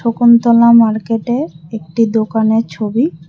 কুন্তলা মার্কেটের একটি দোকানের ছবি।